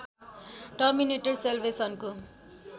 terminator सेल्वेसनको